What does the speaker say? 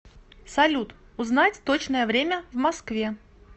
салют узнать точное время в москве